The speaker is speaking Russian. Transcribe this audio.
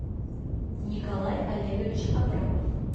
николай олегович абрамов